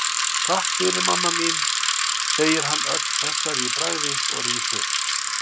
Takk fyrir, mamma mín, segir hann ögn hressari í bragði og rís upp.